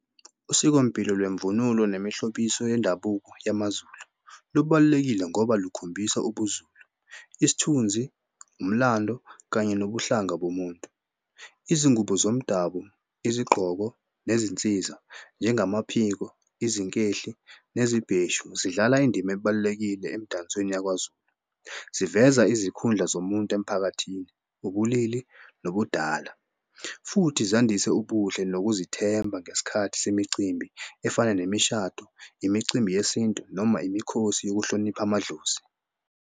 Usikompilo lwemvunulo nemihlobiso yendabuko yamaZulu lubalulekile ngoba lukhombisa ubuZulu, isithunzi, umlando kanye nobuhlanga bomuntu. Izingubo zomdabu, izigqoko nezinsiza njengamaphiko, izinkehli nezibheshu zidlala indima ebalulekile emdansweni yakwaZulu. Ziveze izikhundla zomuntu emphakathini, ubulili nobudala futhi zandise ubuhle nokuzithemba ngesikhathi semicimbi efana nemishado, imicimbi yesintu, noma imikhosi yokuhlonipha amadlozi.